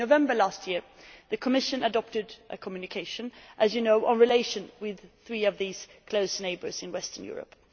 In November last year, the Commission adopted a communication, as you know, on relations with these three close neighbours in western Europe.